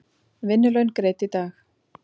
Vinnulaun greidd í dag.